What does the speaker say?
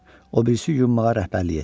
O birisi yumağa rəhbərlik etdi.